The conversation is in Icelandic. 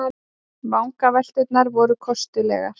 Vangavelturnar voru kostulegar.